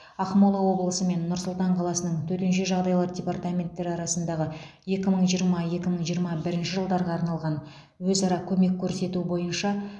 ақмола облысы мен нұр сұлтан қаласының төтенше жағдайлар департаменттері арасындағы екі мың жиырма екі мың жиырма бірінші жылдарға арналған өзара көмек көрсету бойынша